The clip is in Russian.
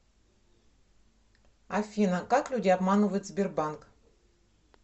афина как люди обманывают сбербанк